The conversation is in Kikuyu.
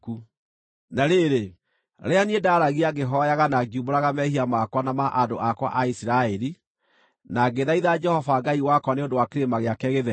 Na rĩrĩ, rĩrĩa niĩ ndaaragia ngĩhooyaga na ngiumbũraga mehia makwa na ma andũ akwa a Isiraeli, na ngĩthaitha Jehova Ngai wakwa nĩ ũndũ wa kĩrĩma gĩake gĩtheru,